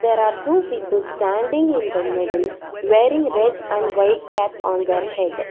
there are two people standing in the middle wearing red and white cap on their head.